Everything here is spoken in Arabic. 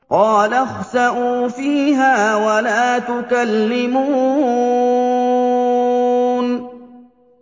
قَالَ اخْسَئُوا فِيهَا وَلَا تُكَلِّمُونِ